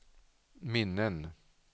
minnen